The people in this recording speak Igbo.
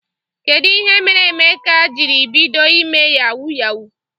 Kedụ ihe mere Emeka jiri bido ime yawu yawu?